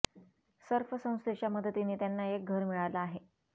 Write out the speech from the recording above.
Surf संस्थेच्या मदतीने त्यांना एक घर मिळालं आहे